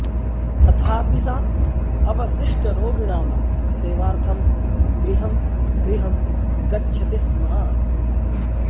तथापि सा अवशिष्टरोगिणां सेवार्थं गृहं गृहं गच्छति स्म